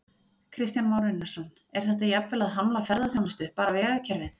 Kristján Már Unnarsson: Er þetta jafnvel að hamla ferðaþjónustu, bara vegakerfið?